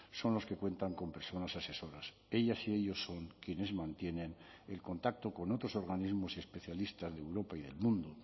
son los que cuentan con personas asesoras ellas y ellos son quienes mantienen el contacto con otros organismos especialistas de europa y del mundo